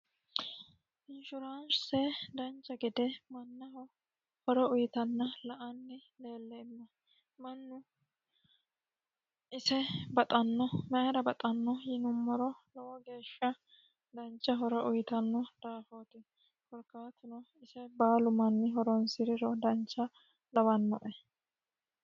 inshuraanse dancha gede mannaho horo uyitanna la anni leelleemma mannu ise baxanno mayira baxanno yinummoro lowo geeshsha dancha horo uyitanno daafooti korkaatino ise baalu manni horonsi'riro dancha lawannoe